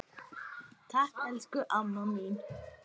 Takk, elsku amma mín.